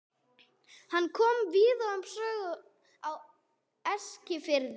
Hann kom víðar við sögu á Eskifirði.